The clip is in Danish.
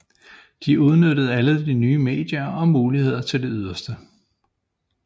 De udnyttede alle de nye medier og muligheder til det yderste